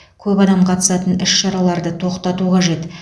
көп адам қатысатын іс шараларды тоқтату қажет